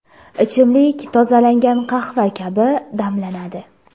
Ichimlik tozalangan qahva kabi damlanadi.